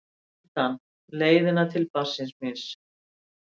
undan, leiðina til barnsins míns.